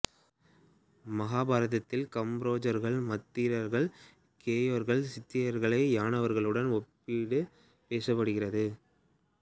மகாபாரதத்தில் காம்போஜர்கள் மத்திரர்கள் கேகயர்கள் சிந்தியர்களை யவனர்களுடன் ஒப்பிட்டு பேசப்படுகிறது